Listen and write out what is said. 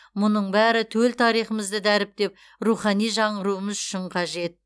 мұның бәрі төл тарихымызды дәріптеп рухани жаңғыруымыз үшін қажет